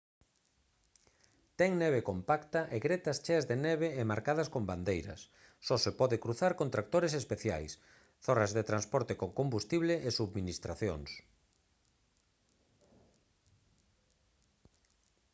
ten neve compacta e gretas cheas de neve e marcadas con bandeiras só se pode cruzar con tractores especiais zorras de transporte con combustible e subministracións